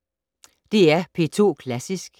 DR P2 Klassisk